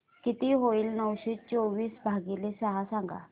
किती होईल नऊशे चोवीस भागीले सहा सांगा